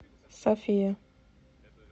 софия